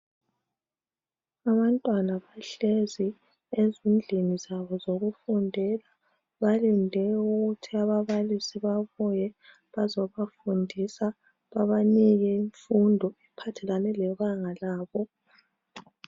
Abantwana bahlezi ezindlini zabo zokufundela. Balinde ukuthi ababalisi babuye bazobafundisa, babanike imfundo ephathelane lebanga labo.